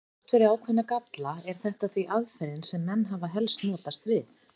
Þrátt fyrir ákveðna galla er þetta því aðferðin sem menn hafa helst notast við.